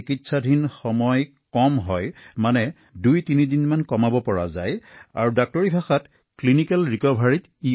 এই ঔষধৰ গুৰুত্বপূৰ্ণ কথাটো হল চিকিৎসালয়ত দুই তিনি দিন কমকৈ থাকিব পাৰি আৰু নিদানিক পুনৰুদ্ধাৰত সহায়ো কৰে